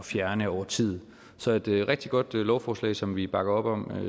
fjerne over tid så det er et rigtig godt lovforslag som vi bakker op om